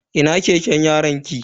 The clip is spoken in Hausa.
Ina keken yaronki?